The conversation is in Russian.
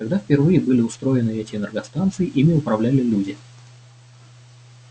когда впервые были устроены эти энергостанции ими управляли люди